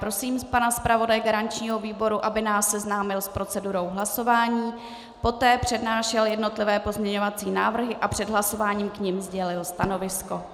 Prosím pana zpravodaje garančního výboru, aby nás seznámil s procedurou hlasování, poté přednášel jednotlivé pozměňovací návrhy a před hlasováním k nim sdělil stanovisko.